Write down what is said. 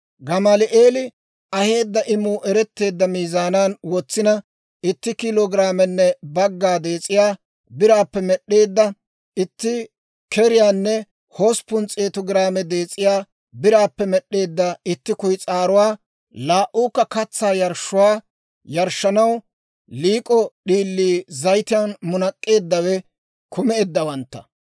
Gamaali'eeli aheedda imuu eretteedda miizaanan wotsina, itti kiilo giraamenne bagga dees'iyaa biraappe med'd'eedda itti keriyaanne hosppun s'eetu giraame dees'iyaa biraappe med'd'eedda itti kuyis'aaruwaa, laa"uukka katsaa yarshshuwaa yarshshanaw lik'k'o d'iilii zayitiyaan munak'k'eeddawe kumeeddawantta